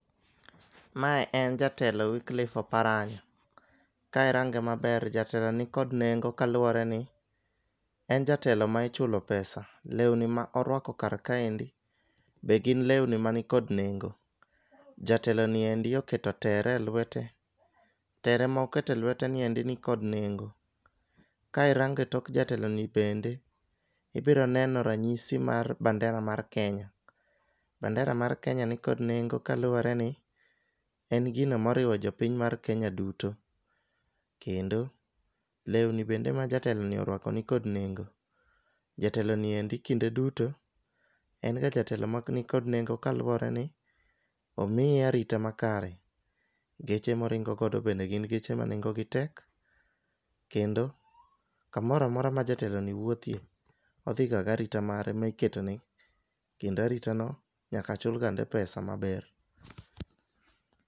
Mae en jatelo wickliffe oparanya. Ka irange maber jatelo ni nikod kaluwore ni en jatelo ma ichulo pesa, lewni ma orwako kar kaendi be gin lewni mani kod nengo. Jatelo niendi oketo tere e lwete tere ma okete lwete niendi nikod nengo. Ka irange tok jatelo ni bende ibiro neno ranyisi mar bandera mar kenya. Bandera mar kenya nikod nengo kaluwore ni en gino ma oriwo jopiny mar kenya duto kendo lewni ma jatelo ni orwako nikod nengo. Jatelo ni endi kinde duto en ga jatelo mani kod nengo kaluwore ni omiye arita makare. Geche moringo godo bende gin geche ma nengo gi tek kendo kamoramora ma jateko ni wuothie, odhi ga garita mare miketone kendo arita no nyaka chul gande pesa maber.